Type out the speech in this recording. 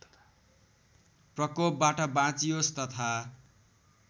प्रकोपबाट बाँचियोस् तथा